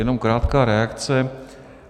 Jenom krátká reakce.